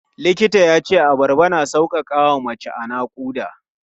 Likitan ya ce abarba na sauƙaƙa wa mace a naƙuda.